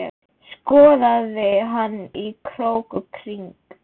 Skoðaði hana í krók og kring.